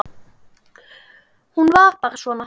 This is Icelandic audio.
Hún var bara svona